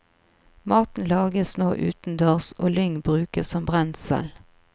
Maten lages nå utendørs og lyng brukes som brensel.